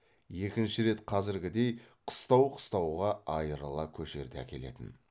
екінші рет қазіргідей қыстау қыстауға айырыла көшерде әкелетін